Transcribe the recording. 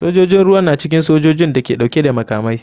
Sojojin ruwa na cikin sojojin da ke dauke da makamai.